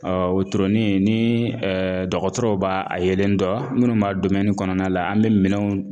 Ɔ wotoroni ni dɔgɔtɔrɔw b'a a yelen dɔn minnu b'a kɔnɔna la an bɛ minɛnw